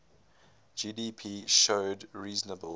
gdp showed reasonable